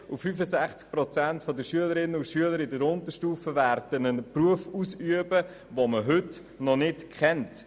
65 Prozent der Schülerinnen und Schüler der Unterstufe werden dereinst einen Beruf ausüben, den man heute noch nicht kennt.